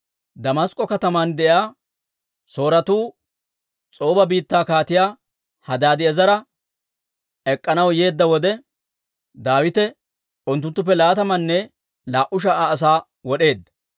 Damask'k'o katamaan de'iyaa Sooretuu S'ooba biittaa Kaatiyaa Hadaadi'eezera maaddanaw yeedda wode, Daawite unttunttuppe laatamanne laa"u sha"a asaa wod'eedda.